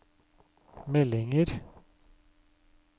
meldinger